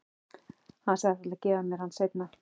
Hann sagðist ætla að gefa mér hann seinna.